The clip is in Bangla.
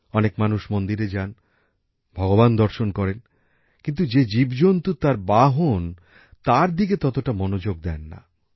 অনেক মানুষ মন্দিরে যান ভগবান দর্শন করেন কিন্তু যে জীবজন্তু তার বাহন তার দিকে ততটা মনোযোগ দেন না